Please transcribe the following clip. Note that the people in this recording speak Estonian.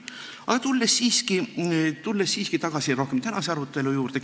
Aga tulen siiski tagasi tänase arutelu juurde.